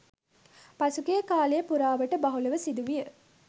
පසුගිය කාලය පුරාවටම බහුලව සිදුවිය